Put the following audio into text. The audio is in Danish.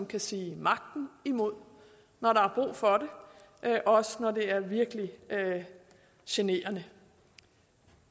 kan sige magten imod når der er brug for det også når det er virkelig generende